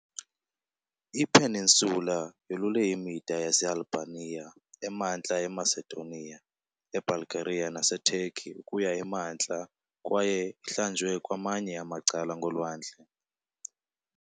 Ipeninsula yolule imida yaseAlbania, eMantla eMacedonia, eBulgaria naseTurkey ukuya emantla kwaye ihlanjwe kwamanye amacala ngoLwandle lwe-Aegean, uLwandle lwase-Ionian kunye noLwandle